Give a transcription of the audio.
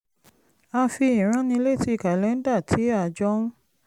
a fi ìránnilétí kàlẹ́ńdà tí a jọ ń